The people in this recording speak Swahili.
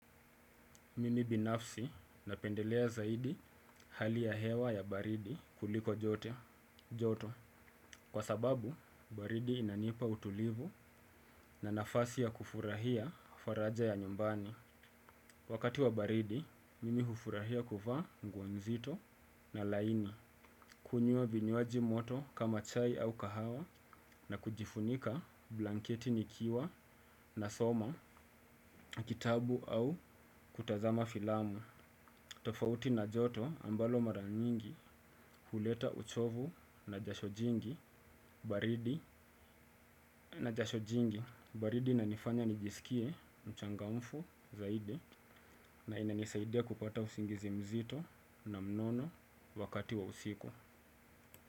Mimi binafsi napendelea zaidi hali ya hewa ya baridi kuliko joto, kwa sababu baridi inanipa utulivu na nafasi ya kufurahia faraja ya nyumbani. Wakati wa baridi, mimi hufurahia kuvaa nguo nzito na laini, kunywa vinywaji moto kama chai au kahawa na kujifunika blanketi nikiwa nasoma, kitabu au kutazama filamu. Tofauti na joto ambalo mara nyingi huleta uchovu na jasho jingi na jasho jingi baridi inanifanya nijisikie mchangamfu zaidi na inanisaidia kupata usingizi mzito na mnono wakati wa usiku.